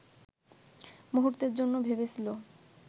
মুহূর্তের জন্য ভেবেছিল